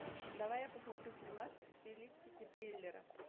давай я посмотрю фильмас в стилистике триллера